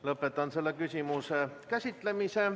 Lõpetan selle küsimuse käsitlemise.